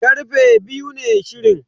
Karfe biyu ne shirin.